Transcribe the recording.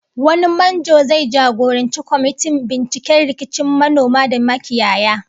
Wani manjo zai jagoranci kwamitin binciken rikicin manoma da makiyaya